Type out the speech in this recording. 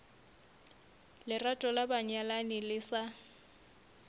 lerato la banyalani le sa